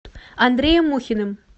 андреем мухиным